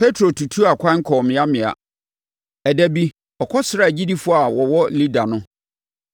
Petro tutuu akwan kɔɔ mmeammea. Ɛda bi, ɔkɔsraa agyidifoɔ a wɔwɔ Lida no,